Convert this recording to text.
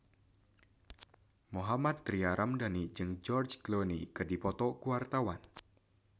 Mohammad Tria Ramadhani jeung George Clooney keur dipoto ku wartawan